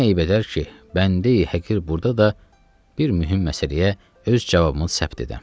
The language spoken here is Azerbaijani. Nə eyb edər ki, bəndəyi həqir burda da bir mühüm məsələyə öz cavabını səbt edəm?